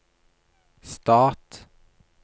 stat